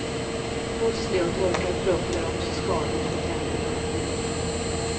Müsli och torkad frukt är också skadligt för tänderna.